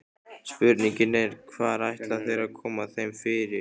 Spurningin er, hvar ætla þeir að koma þeim fyrir?